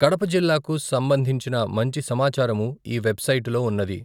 కడప జిల్లాకు సంబంధించిన మంచి సమాచారము ఈ వెబ్ సైట్ లో ఉన్నది.